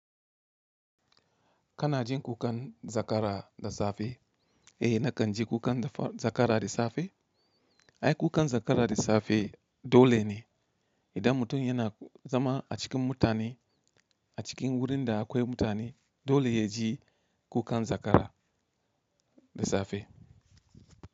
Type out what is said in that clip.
Kana jin kukan zakara da safe? Eh nakan ji kukan zakara da safe. Ai kukan zakara da safe dole ne idan mutum yana zama a cikin mutane a cikin wurin da akwai mutane dole ya ji kukan zakara da safe.